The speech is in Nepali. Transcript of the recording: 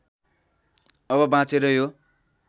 अब बाँचेर यो